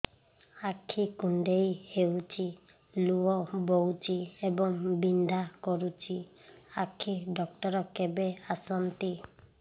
ଆଖି କୁଣ୍ଡେଇ ହେଉଛି ଲୁହ ବହୁଛି ଏବଂ ବିନ୍ଧା କରୁଛି ଆଖି ଡକ୍ଟର କେବେ ଆସନ୍ତି